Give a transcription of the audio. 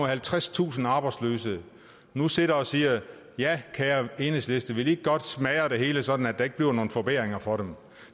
halvtredstusind arbejdsløse nu sidder og siger ja kære enhedslisten vil i ikke godt smadre det hele sådan at der ikke bliver nogen forbedringer for dem